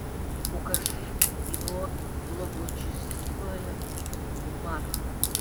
покажи кино благочестивая марта